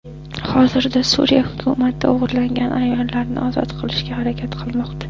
Hozirda Suriya hukumati o‘g‘irlangan ayollarni ozod qilishga harakat qilmoqda.